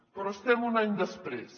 però estem un any després